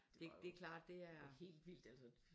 Det det klart det er